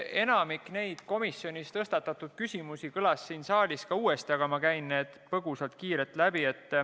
Enamik komisjonis tõstatatud küsimusi kõlas siin saalis uuesti, aga ma käin need põgusalt ja kiirelt läbi.